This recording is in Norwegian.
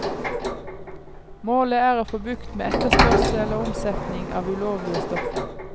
Målet er å få bukt med etterspørsel og omsetning av ulovlige stoffer.